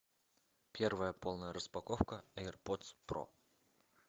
первая полная распаковка эйрподс про